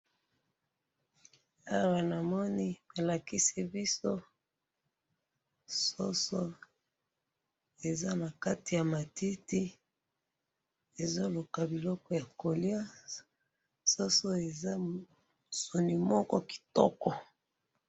awa namoni bolakisi biso soso eza na kati ya matiti ezoluka biloko ya kolya soso eza soni moko kitoko